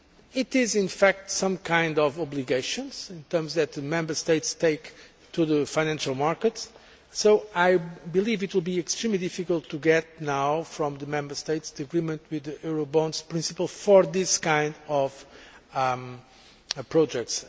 It is, in fact, some kind of obligation which Member States take to the financial markets, so I believe it will be extremely difficult to now get from the Member States the agreement with the Eurobonds principle for this kind of projects.